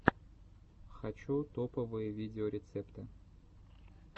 хочу топовые видеорецепты